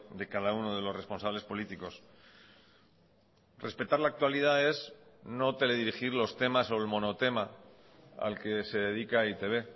de cada uno de los responsables políticos respetar la actualidad es no teledirigir los temas o el monotema al que se dedica e i te be